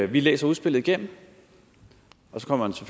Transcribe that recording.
vi læser udspillet igennem og så kommer